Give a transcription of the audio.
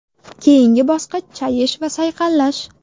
Keyingi bosqich chayish va sayqallash.